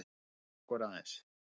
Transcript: Girðum okkur aðeins!